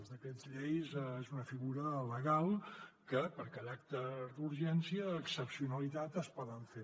els decrets llei són una figura legal que per caràcter d’urgència i excepcionalitat es poden fer